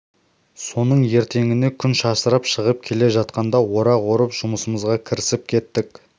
соның ертеңіне күн шашырап шығып келе жатқанда орақ орып жұмысымызға кірісіп кеттік